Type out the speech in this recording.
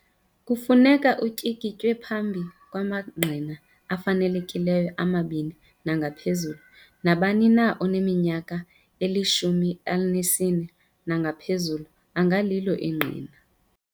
Kufuneka utyikitywe phambi kwamangqina afanelekileyo amabini nangaphezulu. Nabani na oneminyaka eli-14 nangaphezulu angalilo ingqina.